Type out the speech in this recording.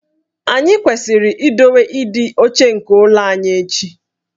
Anyị kwesịrị idowe ịdị ọcha nke ụlọ anyị echi